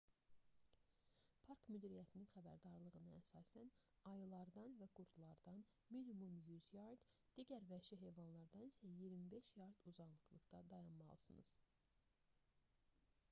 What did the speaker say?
park müdiriyyətinin xəbərdarlığına əsasən ayılardan və qurdlardan minimum 100 yard /m digər vəhşi heyvanlardan isə 25 yard/m uzaqda dayanmalısınız!